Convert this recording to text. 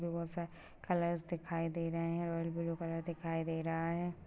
Colours दिखाई दे रहे है रॉयल ब्लू कलर दिखाई दे रहा हैं।